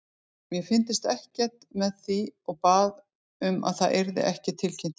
Ég fylgdist ekkert með því og bað um að það yrði ekki tilkynnt hérna.